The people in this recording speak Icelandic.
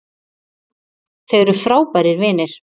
Þau eru frábærir vinir